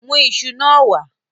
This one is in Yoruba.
Mu isu naa wa